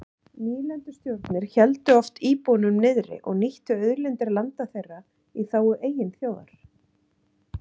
Nýlendustjórnir héldu oft íbúunum niðri og nýttu auðlindir landa þeirra í þágu eigin þjóðar.